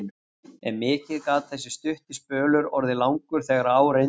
en mikið gat þessi stutti spölur orðið langur þegar á reyndi.